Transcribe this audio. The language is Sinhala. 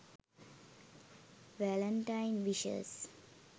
valentine wishes